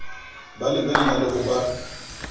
ba lebella le ho ba